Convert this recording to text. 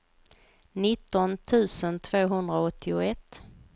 nitton tusen tvåhundraåttioett